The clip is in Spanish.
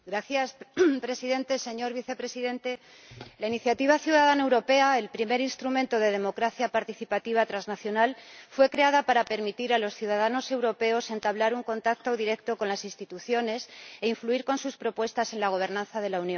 Señor Presidente, señor Vicepresidente, la iniciativa ciudadana europea —el primer instrumento de democracia participativa transnacional— fue creada para permitir a los ciudadanos europeos entablar un contacto directo con las instituciones e influir con sus propuestas en la gobernanza de la Unión.